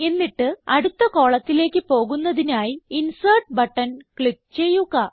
എന്നിട്ട് അടുത്ത കോളത്തിലേക്ക് പോകുന്നതിനായി ഇൻസെർട്ട് ബട്ടൺ ക്ലിക്ക് ചെയ്യുക